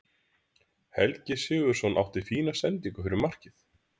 Helgi Sigurðsson átti fína sendingu fyrir markið.